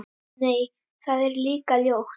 Nei, það er líka ljótt.